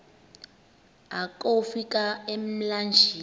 akofi ka emlanjeni